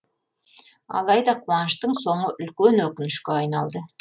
алайда қуаныштың соңы үлкен өкінішке айналды